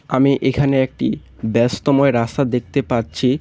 আমি এখানে একটি ব্যস্তময় রাস্তা দেখতে পারছি।